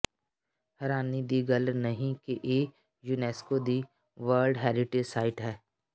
ਹੈਰਾਨੀ ਦੀ ਗੱਲ ਨਹੀਂ ਕਿ ਇਹ ਯੂਨੈਸਕੋ ਦੀ ਵਰਲਡ ਹੈਰੀਟੇਜ ਸਾਈਟ ਹੈ